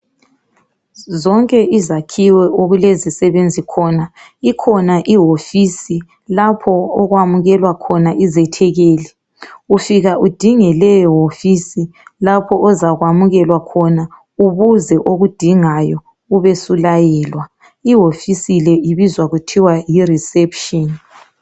Zonke izakhiwo okulezisebenzi khona ikhona ihofisi lapho okwamukelwa khona izethekeli. Ufika udinge leyo hofisi lapho ozakwamukelwa khona ubuze okudingayo ube usulayelwa ihofisi le ibizwa kuthiwa yi reception.